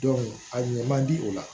a ɲɛ man di o la